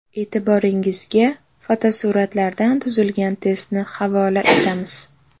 E’tiboringizga fotosuratlardan tuzilgan testni havola etamiz.